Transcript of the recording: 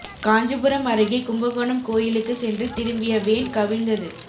காஞ்சிபுரம் அருகே கும்பகோணம் கோயிலுக்கு சென்று திரும்பிய வேன் கவிழ்ந்தது